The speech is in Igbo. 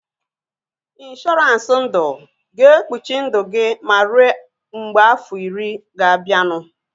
Ịnshọransị ndụ ga-ekpuchi ndụ gị ma rue mgbe afọ iri ga-abianu